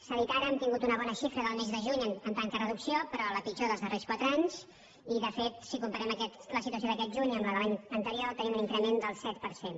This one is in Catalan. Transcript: s’ha dit ara hem tingut una bona xifra del mes de juny en tant que reducció però la pitjor dels darrers quatre anys i de fet si comparem la situació d’aquest juny amb la de l’any anterior tenim un increment del set per cent